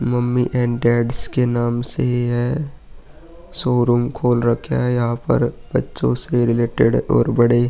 Mummy and dads के नाम से है। शोरूम खोल रखा है। यहाँ पर बच्चो से रिलेटेड और बड़े --